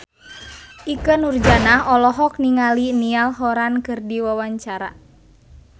Ikke Nurjanah olohok ningali Niall Horran keur diwawancara